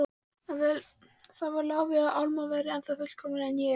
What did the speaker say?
Það lá við að Alma væri ennþá fullkomnari en ég.